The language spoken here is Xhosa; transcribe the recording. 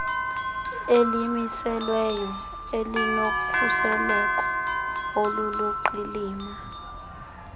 elimiselweyo elinokhuseleko oluluqilima